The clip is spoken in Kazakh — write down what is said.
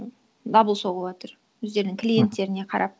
дабыл соғыватыр өздерінің клиенттеріне қарап